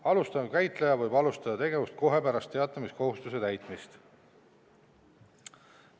Alustav käitleja võib alustada tegevust kohe pärast teatamiskohustuse täitmist.